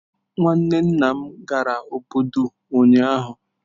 Nwanne nna m gara obodo ụnyahụ.